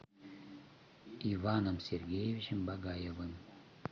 иваном сергеевичем багаевым